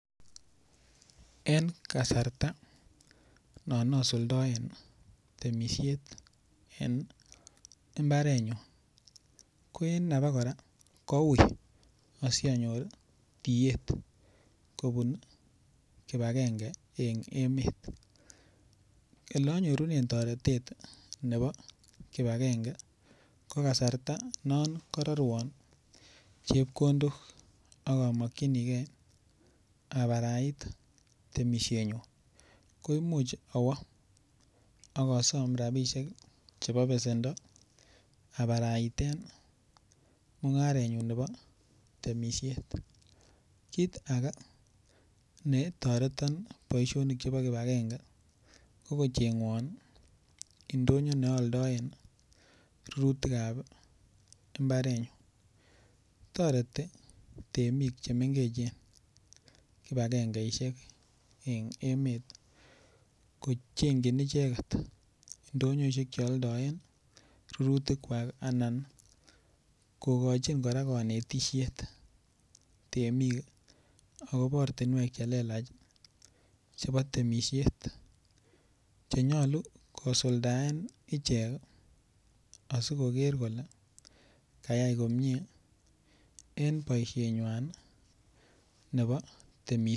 En kasarta non asuldoen temishet en mbarenyun ko en naba kora koui asianyor tiet kobun kipagenge en emet ole anyorune toretet nebo kipagenge ko kasarta non karorwo chepkondok akamokchinigei abarait temishenyun ko imuuch awo akasom rabishek chebo besendo aparaiten mung'arenyu nebo temishet kiit age netoreton boishonik nebo kipagenge kokocheng'won ndonyo neaaldoen rurutikab mbarenyu toreti temik chemengechen kipagengeishek en emet kocheng'chin icheget ndoyoishek cheoldoen rurutik kwak anan kokochin kora kanetishet temik akobo ortinwek chelelach chebo temishet chenyolun kosuldaen ichek asikoker kole kayai komye en boishenywai nebo temishet